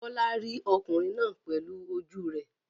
Bola rí ọkùnrin náà pẹ̀lú ojú rẹ̀.